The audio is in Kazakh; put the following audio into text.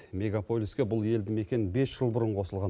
мегаполиске бұл елді мекен бес жыл бұрын қосылған